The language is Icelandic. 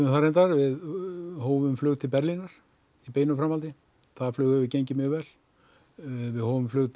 það reyndar við hófum flug til Berlínar í beinu framhaldi það flug hefur gengið mjög vel við hófum flug til